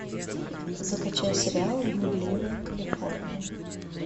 закачай сериал блудливая калифорния